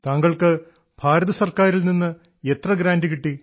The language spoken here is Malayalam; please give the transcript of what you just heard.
താങ്കൾക്ക് ഭാരതസർക്കാരിൽ നിന്ന് എത്ര ഗ്രാന്റ് കിട്ടി